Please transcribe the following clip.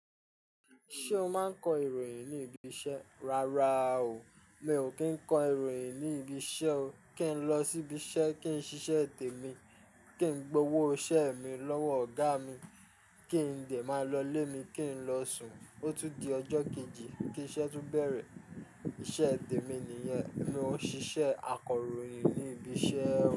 Ṣé o máa ń kọ ìròyìn ní ibi iṣẹ́? Rárá o, mi ò kí ń kọ ìròyìn ní ibi iṣẹ́ o. Kí ń lọ síbi iṣẹ́, kí ń ṣiṣẹ́ témi, kí ń gbowó iṣẹ́ mi lọ́wọ́ ọ̀gá mi, kí ń dẹ máa lọlé mi, kí ń lọ sùn. Ó tún di ọjọ́ kejì, kí iṣẹ́ tun bẹ̀rẹ̀. Ìṣe tèmi nìyẹn. Mi ò ṣíṣe akọròyìn ní ibi iṣẹ́ o.